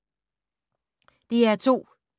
DR2